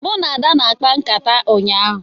Mụ na Ada na-akpa nkata ụnyahụ